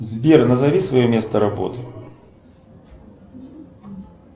сбер назови свое место работы